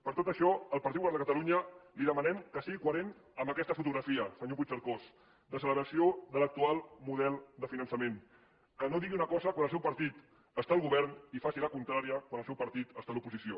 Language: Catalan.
per tot això el partit popular de catalunya li demanem que sigui coherent amb aquesta fotografia senyor puigcercós de celebració de l’actual model de finançament que no digui una cosa quan el seu partit està al govern i faci la contrària quan el seu partit està a l’oposició